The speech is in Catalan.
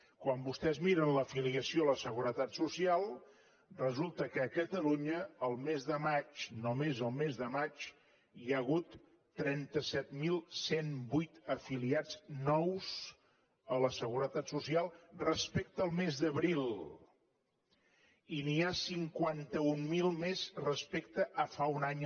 quan vostès miren l’afiliació a la seguretat social resulta que a catalunya el mes de maig només el mes de maig hi ha hagut trenta set mil cent i vuit afiliats nous a la seguretat social respecte al mes d’abril i n’hi ha cinquanta mil més respecte a fa un any